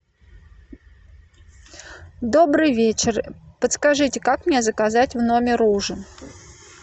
добрый вечер подскажите как мне заказать в номер ужин